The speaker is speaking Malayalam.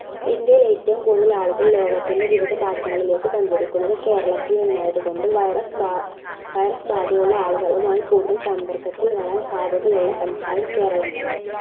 ഇന്ത്യയിൽ ഏറ്റവും കൂടുതൽ ആളുകൾ ലോകത്തിൻറെ വിവിധഭാഗങ്ങലേക്ക് സഞ്ചരിക്കുന്നത് കേരളത്തിൽ നിന്ന് ആയതുകൊണ്ട് virus ബാധ virus ബാധയുള്ള ആളുകളുമായി കൂടുതൽ സമ്പർക്കത്തിൽ വരാൻ സാധ്യതയുള്ള സംസ്ഥാനം കേരളം തന്നെ